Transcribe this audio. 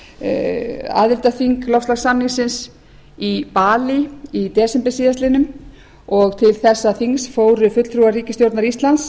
var aðildarþing loftslagssamningsins í balí í desember síðastliðinn og til þessa þings fóru fulltrúar ríkisstjórnar íslands